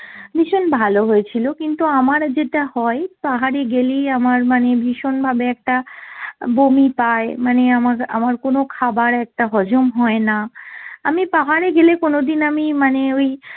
ভীষণ ভালো হয়েছিল কিন্তু আমার যেটা হয় পাহাড়ে গেলেই আমার মানে ভীষণ ভাবে একটা বমি পাই মানে আমা~ আমার কোনো খাবার একটা হজম হয়না। আমি পাহাড়ে গেলে কোনোদিন আমি মানে ওই